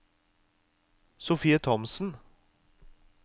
Sofie Thomsen